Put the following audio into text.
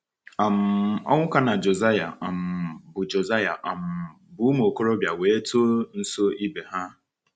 um Onwuka na Josiah um bụ Josiah um bụ ụmụ okorobịa wee too nso ibe ha.